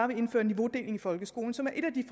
vil indføre niveaudeling i folkeskolen som er et af de